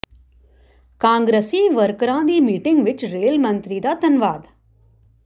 ਕਾਂਗਰਸੀ ਵਰਕਰਾਂ ਦੀ ਮੀਟਿੰਗ ਵਿੱਚ ਰੇਲ ਮੰਤਰੀ ਦਾ ਧੰਨਵਾਦ